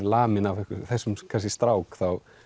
laminn af þessum strák þá